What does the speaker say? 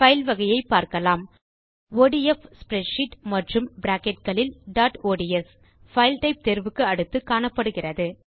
file வகையை பார்க்கலாம் ODF spreadsheet மற்றும் பிராக்கெட் இல் டாட் ஒட்ஸ் பைல் டைப் தேர்வுக்கு அடுத்து காணப்படுகிறது